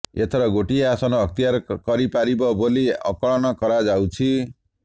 ଏଥର ଗୋଟିଏ ଆସନ ଅକ୍ତିଆର କରିପାରିବ ବୋଲି ଆକଳନ କରାଯାଉଛି